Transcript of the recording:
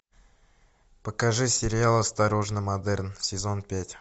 покажи сериал осторожно модерн сезон пять